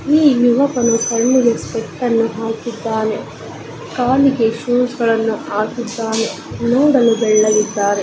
ಈ ಯುವಕನು ಕಣ್ಣಿಗೆ ಸ್ಪೆಕ್ಟ್ ಅನ್ನು ಹಾಕಿದ್ದಾನೆ. ಕಾಲಿಗೆ ಶೂಸ್ ಗಳನ್ನು ಹಾಕಿದ್ದಾನೆ ಕೂದಲು ಬೆಳ್ಳಗಿದ್ದಾವೆ.